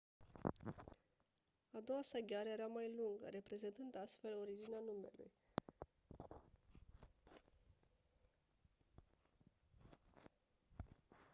a doua sa gheară era mai lungă reprezentând astfel originea numelui hesperonychus care înseamnă «gheara de vest».